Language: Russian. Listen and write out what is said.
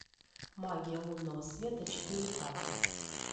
магия лунного света четыре ка